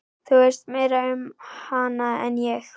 Þú veist meira um hana en ég.